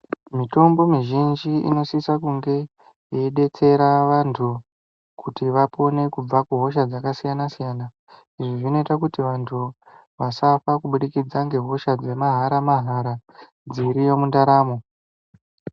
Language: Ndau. Mitombo mizhinji inosisa kunge yeidetsera vantu kuti vapone kubva kuhosha dzakasiyana-siyana. Izvi zvinoita kuti vantu vasafa kubudikidza ngehosha dzemahara-mahara dziriyo mundaramo.